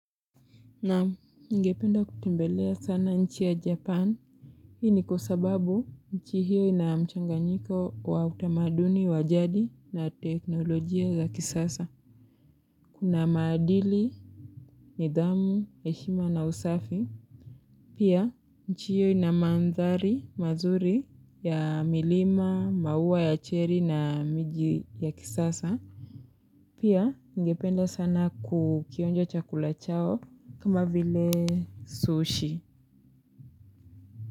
Naam ningependa kutembelea sana nchi ya japan. Hii ni kwa sababu nchi hiyo inamchanganyiko wa utamaduni, wajadi na teknolojia za kisasa. Na maadili, nithamu heshima na usafi. Pia nchi hiyo inamandhari mazuri ya milima, mauwa ya cherry na miji ya kisasa. Pia ningependa sana kukionja chakula chao kama vile sushi.